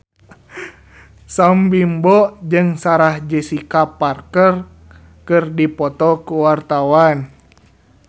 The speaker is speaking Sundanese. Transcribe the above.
Sam Bimbo jeung Sarah Jessica Parker keur dipoto ku wartawan